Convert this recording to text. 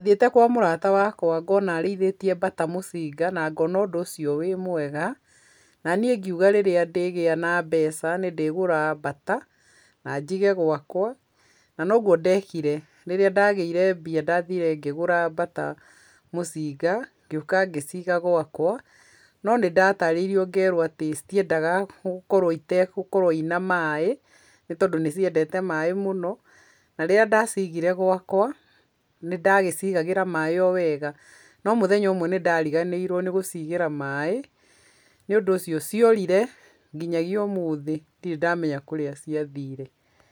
Ndathiĩte kwa mũrata wakwa ngona arĩithĩtie mbata mũcinga na ngona ũndũ ũcio wĩ mwega, na niĩ ngiuga rĩrĩa ndĩgĩa na mbeca nĩ ndĩgũra mbata na njige gwakwa na noguo ndekire. Rĩrĩa ndagĩire mbia, ndathire ngĩgũra mbata mũcinga, ngĩũka ngĩciga gwakwa, no nĩ ndatarĩirio ngerwo atĩ citiendaga gũkorwo itegũkorwo ciĩ na maaĩ, nĩ tondũ nĩciendete maaĩ mũno na rĩrĩa ndacigire gwakwa nĩndagĩcigagĩra maaĩ o wega, no mũthenya ũmwe nĩ ndariganĩirwo nĩ gũcigĩra maaĩ, nĩ ũndũ ũcio ciorire nginyagia ũmũthi ndĩrĩ ndamenya kũrĩa ciathire.